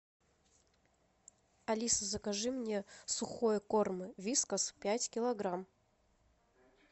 алиса закажи мне сухой корм вискас пять килограмм